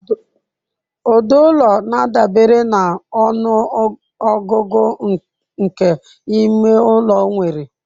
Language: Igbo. Ụdị ụlọ na-adabere na ọnụ ọgụgụ nke ime ụlọ nwere.